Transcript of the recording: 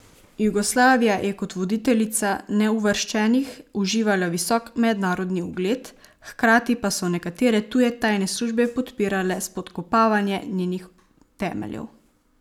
Jugoslavija je kot voditeljica neuvrščenih uživala visok mednarodni ugled, hkrati pa so nekatere tuje tajne službe podpirale spodkopavanje njenih temeljev.